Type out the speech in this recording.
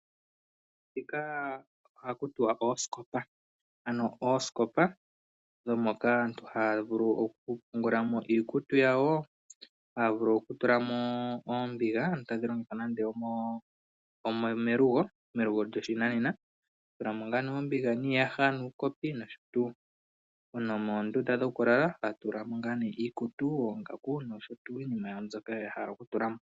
Dhika ohaku tiwa oosikopa. Ano oosikopa dhoka aantu haya vulu oku pungula mo iikutu yawo, haya vulu oku tulamo oombiga. Ano tadhi longithwa nande omelugo, melugo lyoshinanena. To tulamo oombiga nande iihaya noshotuu. Nomoondunda dhoku lala to tulamo iikutu, oongaku noshotuu iinima yawo mbyoka ya hala oku tula mo.